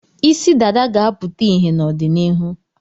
Isi dada ga-apụta ìhè n'ọdịnihu.